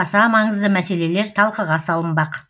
аса маңызды мәселелер талқыға салынбақ